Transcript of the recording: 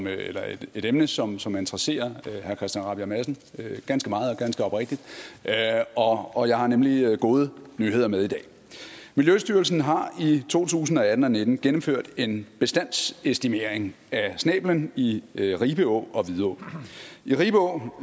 er et emne som som interesserer herre christian rabjerg madsen ganske meget og ganske oprigtigt og og jeg har nemlig gode nyheder med i dag miljøstyrelsen har i to tusind og atten og nitten gennemført en bestandsestimering af snæblen i i ribe å og vidå i ribe å